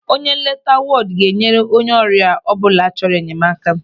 Onye nleta wọdụ ga-nyere onye ọrịa ọbụla chọrọ enyemaka.